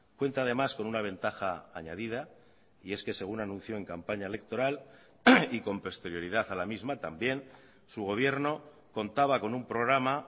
cuenta además con una ventaja añadida y es que según anunció en campaña electoral y con posterioridad a la misma también su gobierno contaba con un programa